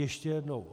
Ještě jednou.